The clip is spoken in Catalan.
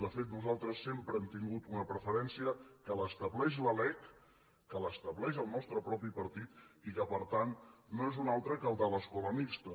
de fet nosaltres sempre hem tingut una preferència que l’estableix la lec que l’estableix el nostre propi partit i que per tant no és un altre que el de l’escola mixta